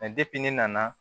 ne nana